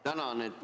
Tänan!